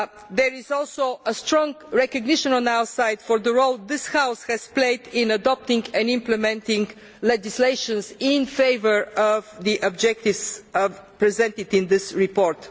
There is also strong recognition on our side of the role this House has played in adopting and implementing legislation to further the objectives presented in this report.